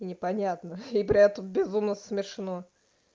непонятно и при этом безумно смешно